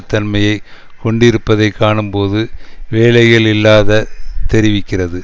தன்மையை கொண்டிருப்பதை காணும்போது வேலைகள் இல்லாத தெரிவிக்கிறது